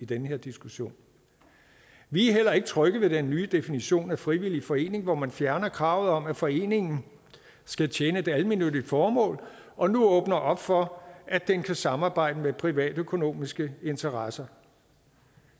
den her diskussion vi er heller ikke trygge ved den nye definition af frivillig forening hvor man fjerner kravet om at foreningen skal tjene et almennyttigt formål og nu åbner op for at den kan samarbejde med privatøkonomiske interesser